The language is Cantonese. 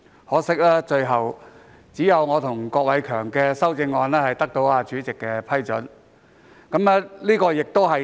可惜，只有我和郭偉强議員提出的修正案獲主席批准提出。